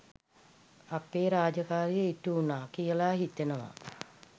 අපේ රාජකාරිය ඉටුවුණා කියල හිතෙනවා.